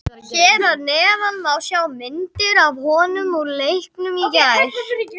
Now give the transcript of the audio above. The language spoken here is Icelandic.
Hér að neðan má sjá myndir af honum úr leiknum í gær.